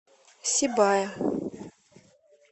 сибая